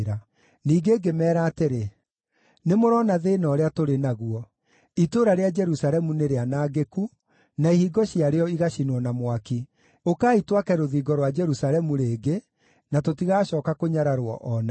Ningĩ ngĩmeera atĩrĩ, “Nĩmũrona thĩĩna ũrĩa tũrĩ naguo: itũũra rĩa Jerusalemu nĩrĩanangĩku, na ihingo ciarĩo igacinwo na mwaki. Ũkai twake rũthingo rwa Jerusalemu rĩngĩ, na tũtigacooka kũnyararwo o na rĩ.”